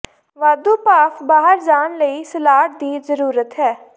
ਵਾਧੂ ਭਾਫ਼ ਬਾਹਰ ਜਾਣ ਲਈ ਸਲਾਟ ਦੀ ਜ਼ਰੂਰਤ ਹੈ